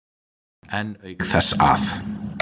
En auk þess að